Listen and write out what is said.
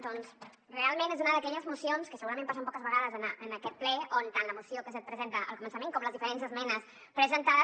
doncs realment és una d’aquelles mocions que segurament passen poques vegades en aquest ple on tant la moció que se’t presenta al començament com les diferents esmenes presentades